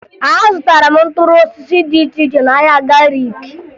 Azụtara m mkpụrụ osisi dị iche iche n'ahịa Gariki